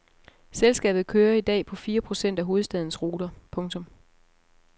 Selskabet kører i dag på fire procent af hovedstadens ruter. punktum